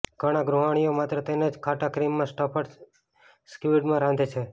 ઘણા ગૃહિણીઓ માત્ર તેને જ ખાટા ક્રીમમાં સ્ટફ્ડ સ્ક્વિડમાં રાંધે છે